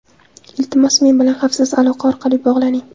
Iltimos, men bilan xavfsiz aloqa orqali bog‘laning.